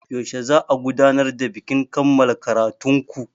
Yaushe za'a gudanar da bikin kammala ƙaratun ku?